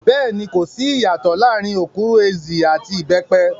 Bẹ́ẹ̀ni, kò sí ìyàtòọ̀ láàrin okwuru-ezi àti ìbẹ́pẹ.